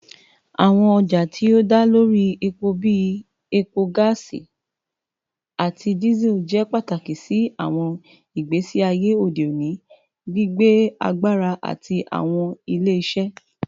Awọn ọja ti o da lori epo bii epo, gaasi, ati Diesel jẹ pataki si awọn igbesi aye ode oni, gbigbe agbara ati awọn ile-iṣẹ